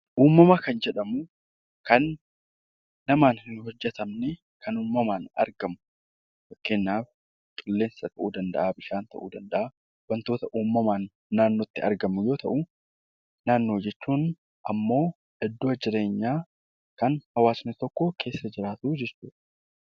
Uumama Kan jedhamu Kan namaan hin hojjetamnee Kan uumamaan argamu. Fakkeenyaaf qilleensa tahuu danda'a, bishaan tahuu danda'a, wantoota uumamaan naannootti argaman yoo tahuu. Naannoo jechuun ammoo iddoo jireenyaa Kan hawaasni tokko keessa jiraatu jechuudha.